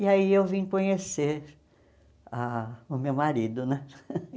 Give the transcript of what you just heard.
E aí eu vim conhecer ah o meu marido, né?